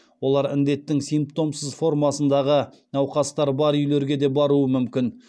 олар індеттің сипмтомсыз формасындағы науқастар бар үйлерге де баруы мүмкін